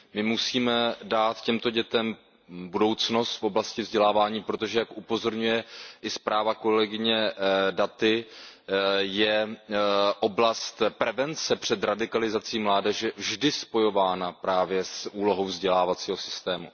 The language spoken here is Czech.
My musíme dát těmto dětem budoucnost v oblasti vzdělávání, protože jak upozorňuje i zpráva kolegyně Datiové, je oblast prevence před radikalizací mládeže vždy spojována právě s úlohou vzdělávacího systému.